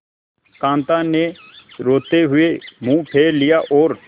कांता ने रोते हुए मुंह फेर लिया और